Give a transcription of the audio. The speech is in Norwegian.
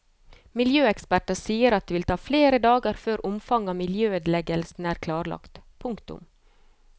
Miljøeksperter sier at det vil ta flere dager før omfanget av miljøødeleggelsene er klarlagt. punktum